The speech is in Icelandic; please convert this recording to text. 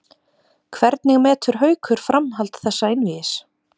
Hvernig metur Haukur framhald þessa einvígis?